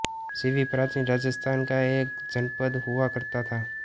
शिवि प्राचीन राजस्थान का एक जनपद हुआ करता था